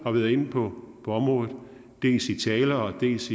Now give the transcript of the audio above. har været inde på området dels i taler dels